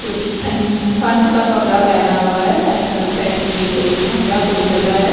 जो कि ठ ठंड का कपड़ा पहना हुआ है ऐसा लग रहा है कि ये कोई ठंडा कोई जगह है।